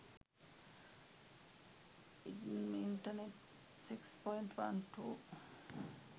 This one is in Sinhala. idm internet 6.12